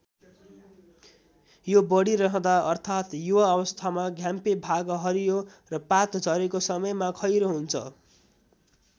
यो बढिरहँदा अर्थात युवा अवस्थामा घ्याम्पे भाग हरियो र पात झरेको समयमा खैरो हुन्छ।